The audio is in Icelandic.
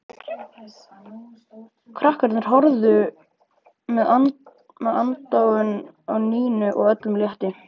Krakkarnir horfðu með aðdáun á Nínu og öllum létti.